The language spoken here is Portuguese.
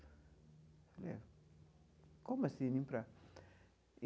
Falei ah, como assim limpar?